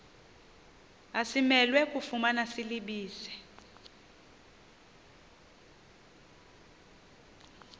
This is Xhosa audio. asimelwe kufumana silibize